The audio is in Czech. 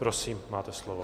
Prosím, máte slovo.